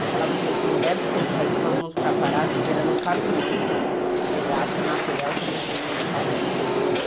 Eu falava, gente, não deve ser só isso, todo mundo ficar parado esperando um caminhão chegar de material que a gente não sabe de onde vem.